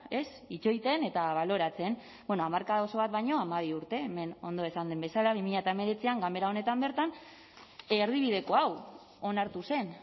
ez itxoiten eta baloratzen bueno hamarkada oso bat baino hamabi urte hemen ondo esan den bezala bi mila hemeretzian ganbera honetan bertan erdibideko hau onartu zen